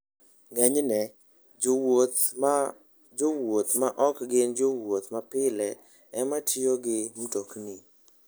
Ng'enyne, jowuoth ma jowuoth ma ok gin jowuoth mapile ema tiyo gi mtokni.